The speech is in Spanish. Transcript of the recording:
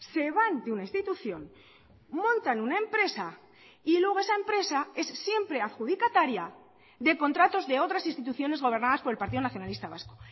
se van de una institución montan una empresa y luego esa empresa es siempre adjudicataria de contratos de otras instituciones gobernadas por el partido nacionalista vasco